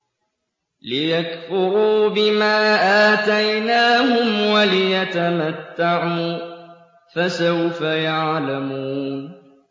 لِيَكْفُرُوا بِمَا آتَيْنَاهُمْ وَلِيَتَمَتَّعُوا ۖ فَسَوْفَ يَعْلَمُونَ